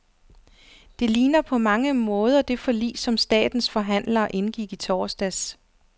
Det ligner på mange måder det forlig, som statens forhandlere indgik i torsdags.